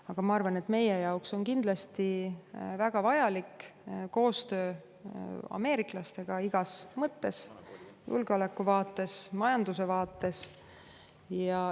Aga ma arvan, et meie jaoks on väga vajalik koostöö ameeriklastega igas mõttes, nii julgeoleku kui ka majanduse vaates.